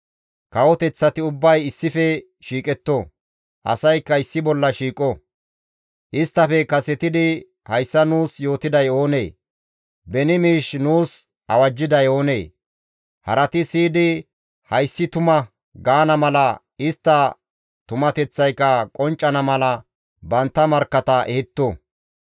Kawoteththati ubbay issife shiiqetto; asaykka issi bolla shiiqo; isttafe kasetidi hayssa nuus yootiday oonee? Beni miish nuus awajjiday oonee? Harati siyidi, «Hayssi tuma» gaana mala, istta tumateththayka qonccana mala bantta markkata ehetto.